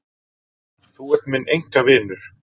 Þú ert minn einkavinur.